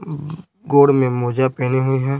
अ हम्म गोड़ में मोजा पहनी हुई है।